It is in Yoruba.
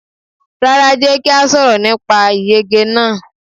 Rárá, Jẹ́ kí a sọ̀rọ̀ nípa ìyege náà.